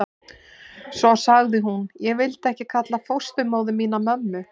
Svo sagði hún: Ég vildi ekki kalla fósturmóður mína mömmu.